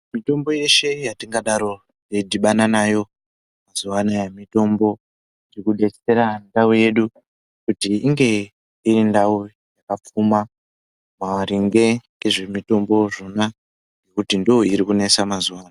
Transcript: Mitombo yeshe yatingadaro teidhibana nao mazuwaanaya mitombo yekugezera ndau yedu kuti inge iri ndau yakapfuma maringe ngezvemitombo zvona ngekuti ndooiri kunesa mazuwaano.